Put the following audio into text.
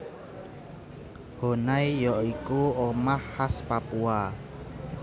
Honai ya iku omah khas Papua